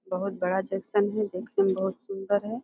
बहोत बड़ा जंक्शन है। देखने मे बहोत सुंदर है।